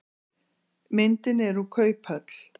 myndin er úr kauphöll